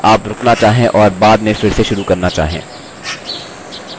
अभ्यास करते समय हो सकता है आप रुकना चाहें और बाद में फिर से शुरू करना चाहें